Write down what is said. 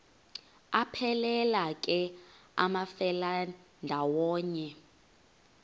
aphelela ke amafelandawonye